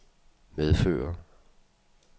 medføre